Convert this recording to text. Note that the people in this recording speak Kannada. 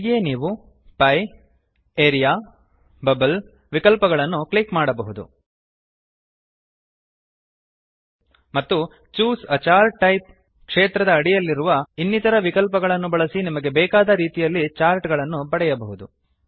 ಹೀಗೆಯೇ ನೀವು ಪಿಯೆ ಲ್ಟ್ಪಾಸೆಗ್ಟ್ ಆರಿಯಾ ಲ್ಟ್ಪಾಸೆಗ್ಟ್ ಬಬಲ್ ಲ್ಟ್ಪಾಸೆಗ್ಟ್ ವಿಕಲ್ಪಗಳನ್ನು ಕ್ಲಿಕ್ ಮಾಡಬಹುದು ಮತ್ತು ಚೂಸ್ a ಚಾರ್ಟ್ ಟೈಪ್ ಕ್ಷೇತ್ರದ ಅಡಿಯಲ್ಲಿರುವ ಇನ್ನಿತರ ವಿಕಲ್ಪಗಳನ್ನು ಬಳಸಿ ನಿಮಗೆ ಬೇಕಾದ ರೀತಿಯಲ್ಲಿ ಚಾರ್ಟ್ ಗಳನ್ನು ಪಡೆಯಬಹುದು